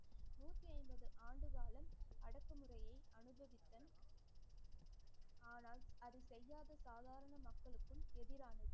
நூற்றி ஐம்பது ஆண்டு காலம், அடக்குமுறையை ஆனால், அதை செய்யாத சாதாரண மக்களுக்கும் எதிரானது.